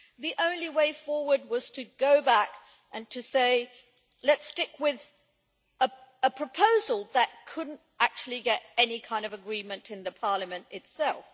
The only way forward was to go back and suggest that we stick with a proposal that could not actually get any kind of agreement in Parliament itself.